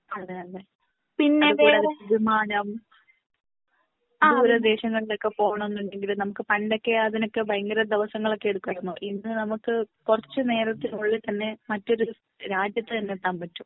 അതെ അതെ വിമാനം ദൂര ദേശങ്ങളിൽ ഒക്കെ പോണം എന്നുണ്ടെങ്കില് നമുക്ക് പണ്ടൊക്കെ അതിനൊക്കെ ഭയങ്കര ദിവസങ്ങൾ ഒക്കെ എടുക്കുമായിരുന്നു. ഇന്ന് നമുക്ക് കുറച്ചു നേരത്തിനുള്ളിൽ തന്നെ മറ്റൊരു രാജ്യത്ത് തന്നെ എത്താൻ പറ്റും.